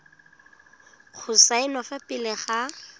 go saenwa fa pele ga